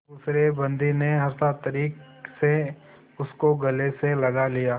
दूसरे बंदी ने हर्षातिरेक से उसको गले से लगा लिया